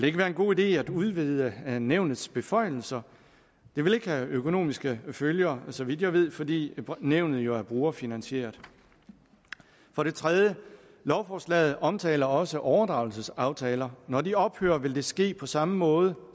ikke være en god idé at udvide nævnets beføjelser det vil ikke have økonomiske følger så vidt jeg ved fordi nævnet jo er brugerfinansieret for det tredje lovforslaget omtaler også overdragelsesaftaler når de ophører vil det ske på samme måde